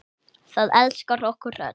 Það elskar okkur öll.